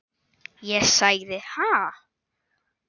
Ég sagði: Ha?